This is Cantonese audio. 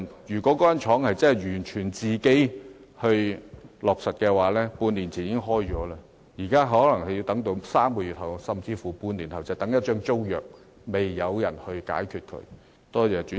如果該間紡紗廠真是完全能自行作主，半年前已開業了，現在則可能要再等3個月甚至半年才能開業，等的就是一份尚待解決的租約。